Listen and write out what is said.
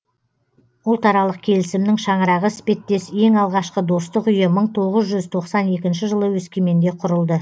ұлтаралық келісімнің шаңырағы іспеттес ең алғашқы достық үйі мың тоғыз жүз тоқсан екінші жылы өскеменде құрылды